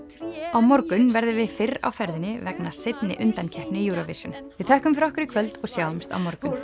á morgun verðum við fyrr á ferðinni vegna seinni undankeppni Eurovision við þökkum fyrir okkur í kvöld og sjáumst á morgun